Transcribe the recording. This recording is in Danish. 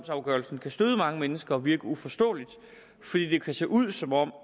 afgørelse kan støde mange mennesker og virke uforståelig fordi det kan se ud som om